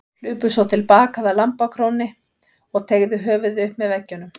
Hlupu svo til baka að lambakrónni og teygðu höfuðið upp með veggjunum.